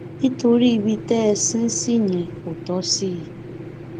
nítorí ibi tẹ ẹ sin ín sí yẹn kò tọ sí i